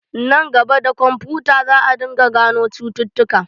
Nan gaba, da kwamfuta za a dinga gano cututtuka.